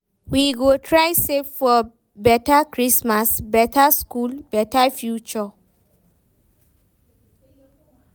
We go try save for beta Christmas, beta school, beta future.